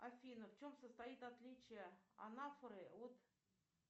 афина в чем состоит отличие анафоры от